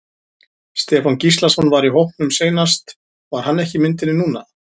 Stefán Gíslason var í hópnum seinast var hann ekki í myndinni núna?